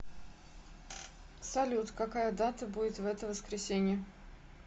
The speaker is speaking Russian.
салют какая дата будет в это воскресенье